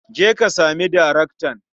Je ka sami daraktan.